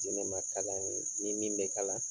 di ne ma ka di an ye ni min bɛ kalan.